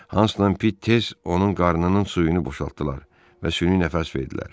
Hansla Pit tez onun qarnının suyunu boşaltdılar və süni nəfəs verdilər.